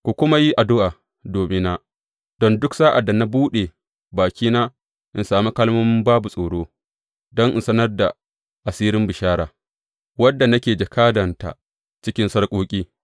Ku kuma yi addu’a domina, don duk sa’ad da na buɗe bakina, in sami kalmomi babu tsoro, don in sanar da asirin bishara, wadda nake jakadanta cikin sarƙoƙi.